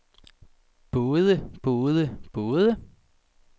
både både både